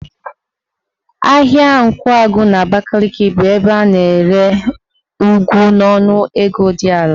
Ahịa Nkwagụ n'Abakaliki bụ ebe a na-ere ụgụ n'ọnụ ego dị ala.